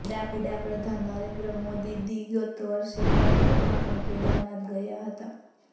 વડાપ્રધાન નરેન્દ્ર મોદીદી ગત વર્ષે નવેમ્બરમાં પણ કેદારનાથ ગયા હતા